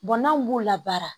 n'anw b'u la baara